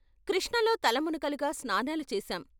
కృష్ణలో తల మునకలుగా స్నానాలు చేశాం.